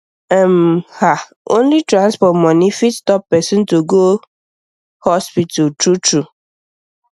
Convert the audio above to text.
um ah only transport money fit stop person to go hospital true true